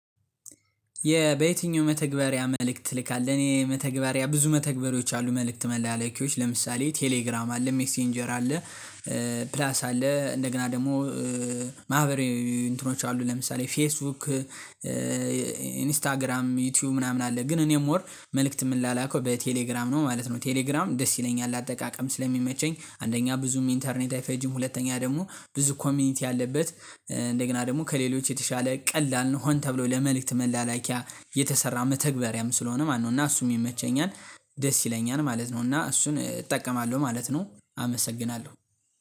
የ በየትኛው መተግበሪያ መልእክት ትልካለህ? እኔ መተግበሪያ ብዙ መተግበሪዎች አሉ መልእክት መላላኪያዎች ለምሳሌ ቴሌግራም አለ ሜሴንጀር አለ። ፕላስ አለ እንደገና ደግሞ ማህበራዊ እንትኖች አሉ ለምሳሌ ፌስቡክ። ኢንስታግራም ዩቲዩብ ምናምን አለ ግን እኔም ሞር መልእክት የምላላከው በቴሌግራም ነው ማለት ነው። ቴሌግራም ደስ ይለኛል አጠቃቀም ስለሚመቸኝ አንደኛ ብዙም ኢንተርኔት አይፈጂም ሁለተኛ ደግሞ ብዙ ኮሚኒቲ አለበት። እንደገና ደግሞ ከሌሎች የተሻለ ቀላል ነው ሆን ተብሎ ለመልእክት መላላኪያ የተሰራ መተግበሪያም ስለሆነ ማነው እና እሱም ይመቸኛል። ደስ ይለኛል ማለት ነው እና እሱን እጠቀማለሁ ማለት ነው። አመሰግናለሁ።